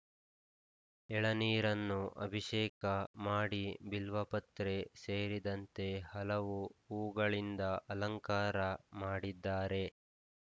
ಎಳನೀರನ್ನು ಅಭಿಷೇಕ ಮಾಡಿ ಬಿಲ್ವಪತ್ರೆ ಸೇರಿದಂತೆ ಹಲವು ಹೂವುಗಳಿಂದ ಅಲಂಕಾರ ಮಾಡಿದ್ದಾರೆ